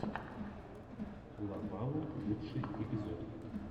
лопалу лучший эпизод